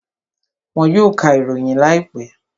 Wọn yóò ka ìròyìn láìpẹ́